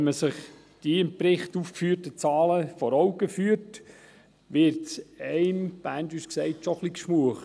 Wenn man sich die im Bericht aufgeführten Zahlen vor Augen führt, wird es einem, Berndeutsch gesagt, schon ein bisschen «gschmuech»: